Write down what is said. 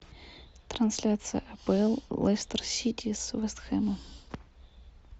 трансляция апл лестер сити с вест хэмом